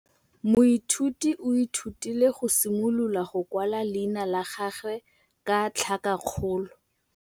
Moithuti o ithutile go simolola go kwala leina la gagwe ka tlhakakgolo.